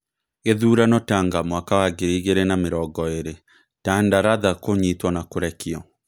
Gĩthurano Tanga mwaka wa ngiri igĩrĩ na mĩrongo ĩrĩ: Tanda Ratha kũnyitwo na kũrekio.